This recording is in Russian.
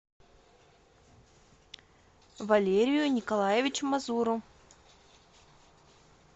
валерию николаевичу мазуру